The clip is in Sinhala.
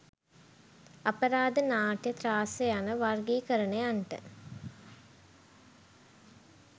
අපරාධ නාට්‍ය ත්‍රාස්‍ය යන වර්ගීකරණයන්ට